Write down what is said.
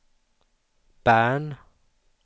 Bern